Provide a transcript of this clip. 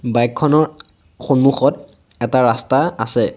Bike খনৰ সন্মুখত এটা ৰাস্তা আছে।